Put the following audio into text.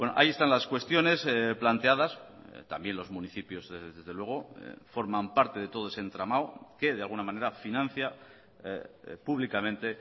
ahí están las cuestiones planteadas también los municipios desde luego forman parte de todo ese entramado que de alguna manera financia públicamente